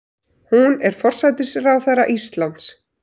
Hún er forsætisráðherra Íslands.